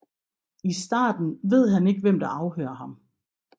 I starten ved han ikke hvem der afhører ham